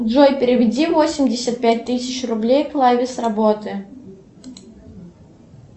джой переведи восемьдесят пять тысяч рублей клаве с работы